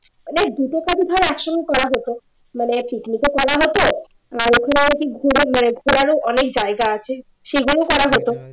মানে দুটো কাজই ধর এক সঙ্গে করা যেত মানে picnic ও করা হতো আর এখানে আর কি ঘোরারও অনেক জায়গা আছে সেগুলো করা হতো